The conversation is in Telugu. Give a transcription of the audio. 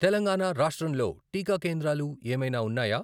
తెలంగాణా రాష్ట్రంలో టీకా కేంద్రాలు ఏమైనా ఉన్నాయా?